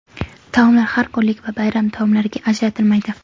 Taomlar har kunlik va bayram taomlariga ajratilmaydi.